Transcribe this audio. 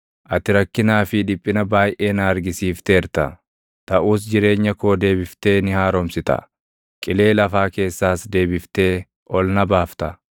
Ati rakkinaa fi dhiphina baayʼee na argisiifteerta; taʼus jireenya koo deebiftee ni haaromsita, qilee lafaa keessaas deebiftee ol na baafta.